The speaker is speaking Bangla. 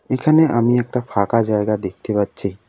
এখানে আমি একটা ফাঁকা জায়গা দেখতে পাচ্ছি।